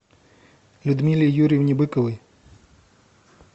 людмиле юрьевне быковой